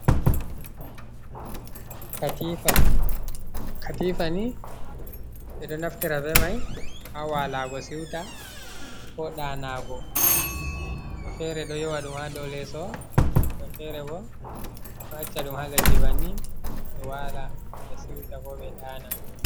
Katifa, katifa ni ɓe ɗo naftira be mai haa walago si'uta, ko danago, woɓɓe be fere ɗo yowa ɗum haa do leeso, woɓɓe be fere bo ɗo acca ɗum haa leɗɗi bannin ɓe waala ngam ɓe si'uta ko ɓe daana.